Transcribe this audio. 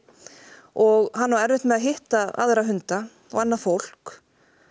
og hann á erfitt með að hitta aðra hunda og annað fólk